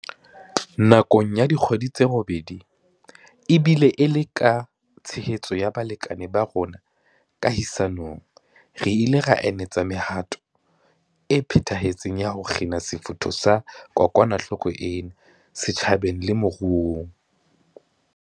Nakong ya dikgwedi tse robedi, ebile e le ka tshehetso ya balekane ba rona kahisa nong, re ile ra anetsa mehato e phethahetseng ya ho kgina sefutho sa kokwanahloko ena setjhabeng le moruong.